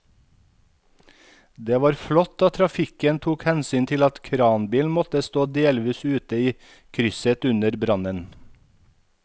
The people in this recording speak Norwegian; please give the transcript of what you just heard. Det var flott at trafikken tok hensyn til at kranbilen måtte stå delvis ute i krysset under brannen.